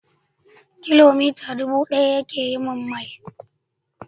Kilomita dubu ɗaya ke yin mil.